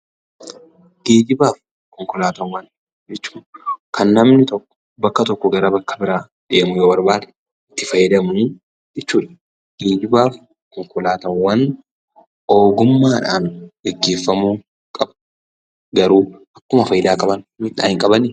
Geejjibaa fi Konkolaataawwan jechuun kan namni tokko bakka tokkoo gara bakka biraa deemuu yoo barbaade itti fayyadamu jechuudha. Geejjibaa fi konkolaataawwan ogummaadhaan gaggeeffamuu qabu. Garuu akkuma faayidaa qaban miidhaa hin qabanii?